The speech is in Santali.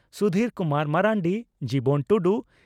ᱥᱩᱫᱷᱤᱨ ᱠᱩᱢᱟᱨ ᱢᱟᱨᱟᱱᱰᱤ ᱡᱤᱵᱚᱱ ᱴᱩᱰᱩ